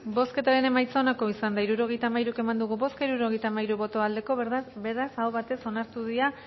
bozketaren emaitza onako izan da hirurogeita hamairu eman dugu bozka hirurogeita hamairu boto aldekoa beraz aho batez onartu dira